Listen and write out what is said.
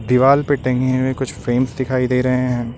दीवाल पे टंगी हुई कुछ फ्रेम्स दिखाई दे रहे हैं।